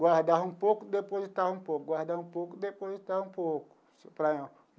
guardava um pouco e depositava um pouco, guardava um pouco e depositava um pouco assim para.